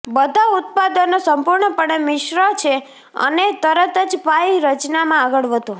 બધા ઉત્પાદનો સંપૂર્ણપણે મિશ્ર છે અને તરત જ પાઇ રચનામાં આગળ વધો